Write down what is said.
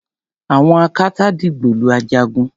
àwọn akátá dìgbòlu Ajagun